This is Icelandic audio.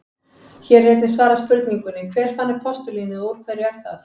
Hér er einnig svarað spurningunni: Hver fann upp postulínið og úr hverju er það?